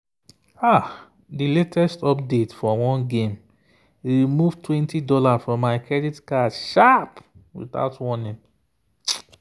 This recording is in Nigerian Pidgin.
the latest update for one game remove $20 from my credit card sharp without warning.